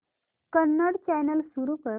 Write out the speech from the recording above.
Kannada channel सुरू कर